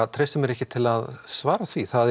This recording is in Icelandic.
treysti mér ekki til að svara því það er